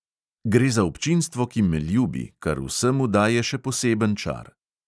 Gre za občinstvo, ki me ljubi, kar vsemu daje še poseben čar.